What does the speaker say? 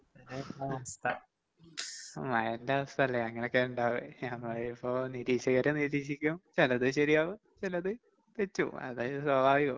മഴേന്റെ അവസ്ഥല്ലേ അങ്ങനെക്കാ ഇണ്ടാവാ, മഴയിപ്പോ നിരീക്ഷകര് നിരീക്ഷിക്കും ചെലത് ശരിയാവും, ചെലത് തെറ്റും അത് സ്വാഭാവികം.